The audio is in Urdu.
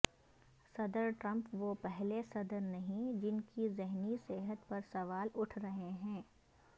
صدرٹرمپ وہ پہلے صدر نہیں جن کی ذہنی صحت پر سوال اٹھ رہے ہیں